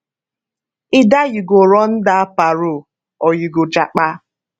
either you go run dat parole or you go japa